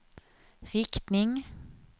riktning